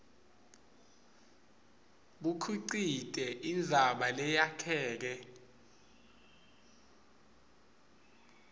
bukhicite indzaba leyakheke